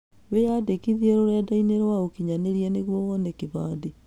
Wĩyandĩkithie rũrenda-inĩ rwa ũkinyanĩria nĩguo wone kĩbandĩ.